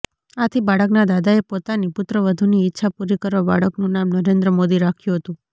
આથી બાળકના દાદાએ પોતાની પૂત્રવધૂની ઈચ્છા પુરી કરવા બાળકનુ નામ નરેન્દ્ર મોદી રાખ્યુ હતુ